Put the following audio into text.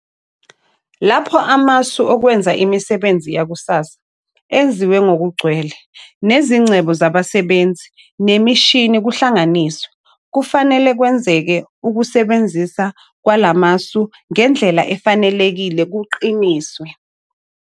Lapho amasu okwenza imisebenzi yakusasa eziwe ngokugcwele, nezingcebo zabasebenzi nemishini kuhlanganisiwe, kufanele kwenzeke ukusebenzisa kwala masu ngendlela efanelekile kuqiniswe.